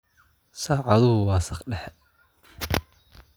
Saacaduhu waa saq dhexe